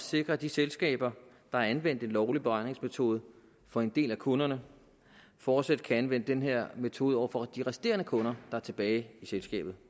sikre at de selskaber der har anvendt en lovlig beregningsmetode for en del af kunderne fortsat kan anvende den her metode over for de resterende kunder der er tilbage i selskabet